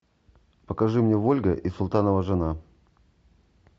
покажи мне вольга и султанова жена